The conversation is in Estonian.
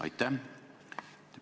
Aitäh!